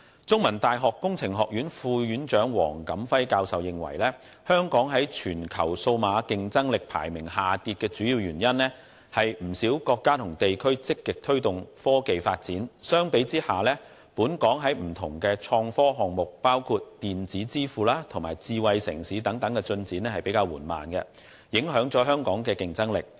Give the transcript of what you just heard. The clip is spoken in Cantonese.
中文大學工程學院副院長黃錦輝教授認為，香港在全球數碼競爭力排名下跌的主要原因，是不少國家和地區積極推動科技發展，相比之下，本港在不同的創科項目，包括電子支付及智慧城市等方面的進展比較緩慢，影響了香港的競爭力。